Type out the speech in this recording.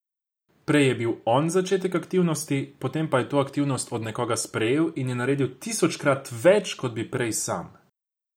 Prej je bil on začetek aktivnosti, potem pa je to aktivnost od nekoga sprejel in je naredil tisočkrat več, kot bi prej sam.